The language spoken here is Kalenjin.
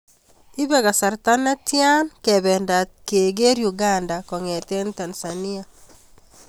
Iipee kasarta netian kebendat kegerr Uganda kong'eten Tanzania